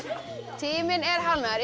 tíminn er hálfnaður